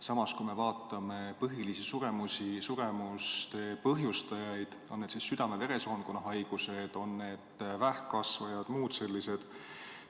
Samas, vaatame põhilisi suremuse põhjustajaid, need on siis südame-veresoonkonnahaigused, vähkkasvajad või muud sellised.